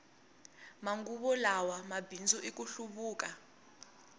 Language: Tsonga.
manguva lawa mabindzu i ku hluvuka